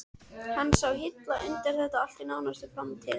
Hann sá hilla undir þetta allt í nánustu framtíð.